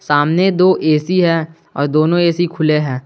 सामने दो ए_सी है और दोनों ए_सी खुले हैं।